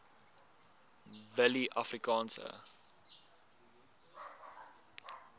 willieafrikaanse